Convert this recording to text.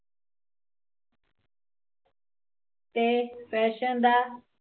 ਤੇ ਫੈਸ਼ਨ ਦਾ